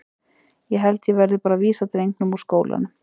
Ég held að ég verði bara að vísa drengnum úr skólanum.